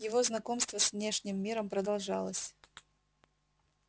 его знакомство с внешним миром продолжалось